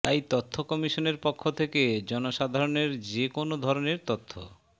তাই তথ্য কমিশনের পক্ষ থেকে জনসাধারণের যে কোনো ধরনের তথ্য